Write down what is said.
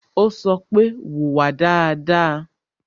Ó sọ pé "Wùwà dáadáa"